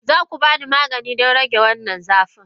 Za ku ba ni magani don rage wannan zafin?